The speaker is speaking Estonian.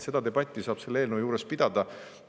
Seda debatti saab selle eelnõu üle pidada.